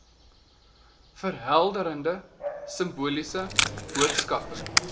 verhelderende simboliese boodskappe